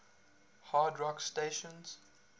hard rock stations